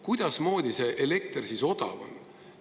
Kuidasmoodi see elekter siis odav on?